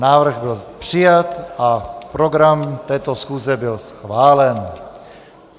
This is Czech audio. Návrh byl přijat a program této schůze byl schválen.